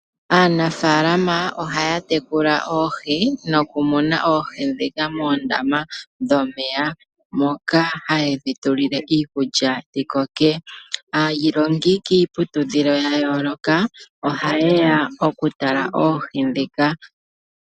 Aanafaalama ohaya tekula oohi nokumuna oohi ndhika moondama dhomeya, moka haye dhi tulile iikulya dhikoke. Aayilongi kiiputudhilo ya yooloka, oha yeya okutala oohi ndhika.